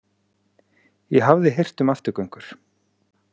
Ég hafði heyrt um afturgöngur.